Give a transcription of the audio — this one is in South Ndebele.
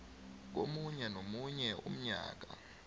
komunye nomunye umnyaka